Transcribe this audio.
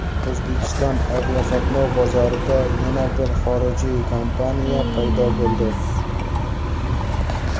O‘zbekiston aviaqatnov bozorida yana bir xorijiy kompaniya paydo bo‘ldi.